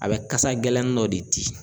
A bɛ kasa gɛlɛn dɔ de di.